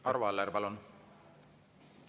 Arvo Aller, palun!